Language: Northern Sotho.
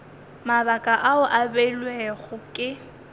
mabaka ao a beilwego ke